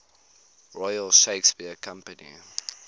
royal shakespeare company